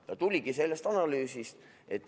See tuligi sellest analüüsist.